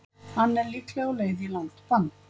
Hann er líklega á leið í langt bann.